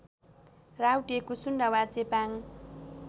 राउटे कुसुन्डा वा चेपाङ